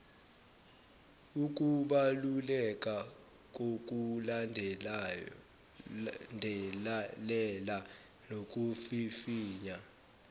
ukubaluleka kokulandelela nokuvivinya